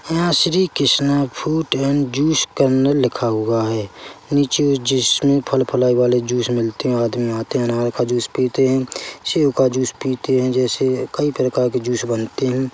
यहाँ Shri Krishna fruit and juice corner लिखा हुआ है नीचे जिसमें फलफलाय वाले जूस मिलते हैं आदमी आते हैं अनार का जूस पीते हैं सेब का जूस पीते हैं जैसे कई प्रकार के जूस बनते हैं।